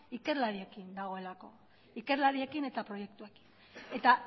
ikerlariekin dagoelako ikerlariekin eta proiektuekin eta